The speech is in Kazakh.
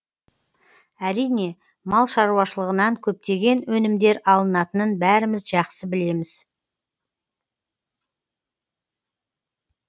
әрине мал шаруашылығынан көптеген өнімдер алынатынын бәріміз жақсы білеміз